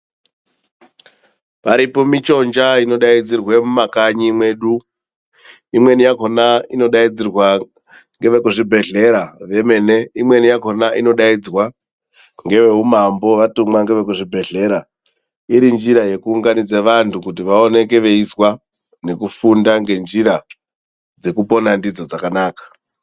Paripo michonja inodaidzirwe mumakanyi mwedu. Imweni yacho inodaidzirwa ngevekuzvibhedhlera vemene, imweni yakhona inodaidzwa ngeveumambo vatumwa ngevekuzvibhedhlera iri njira yekuunganidza vanhtu kuti vaoneke veizwa nekufunda ngenjira dzekupona ndidzo dzakanaka.